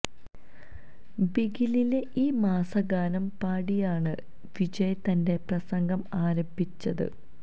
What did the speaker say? ബിഗിലിലെ ഈ മാസ് ഗാനം പാടിയാണ് വിജയ് തന്റെ പ്രസംഗം ആരംഭിച്ചത്